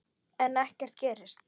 En ekkert gerist.